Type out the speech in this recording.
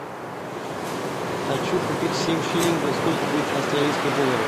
хочу купить семь шиллингов сколько будет австралийских долларов